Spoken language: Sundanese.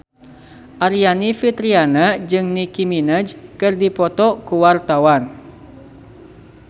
Aryani Fitriana jeung Nicky Minaj keur dipoto ku wartawan